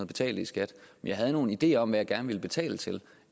betalte i skat jeg havde nogle ideer om hvad jeg gerne ville betale til